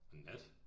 Og Nat